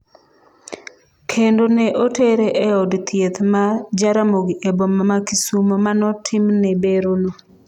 kendo ne otere eod thieth ma Jaramogi eboma ma Kisumo, manotimne berono